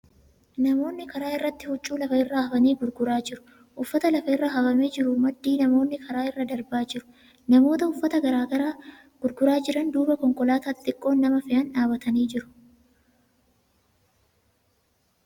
Namoonni karaa irratti huccuu lafa irra hafanii gurguraa jiru. Uffata lafa irraa hafamee jiru maddii namoonni karaa irra darbaa jiru. Namoota uffata gurguraa jiran duuba konkolaataa xixiqqoon nama fe'an dhaabbatanii jiru.